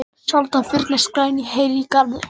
Sjaldan fyrnast græn hey í garði.